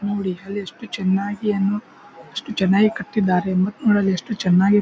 ನೋಡಿ ಅಲ್ಲಿ ಚೆನ್ನಾಗಿ ಎಷ್ಟು ಚೆನ್ನಾಗಿ ಕಟ್ಟಿದ್ದಾರೆ ಮತ್ತು ಅಲ್ ಎಷ್ಟು ಚೆನ್ನಾಗಿ --